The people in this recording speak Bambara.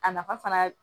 A nafa fana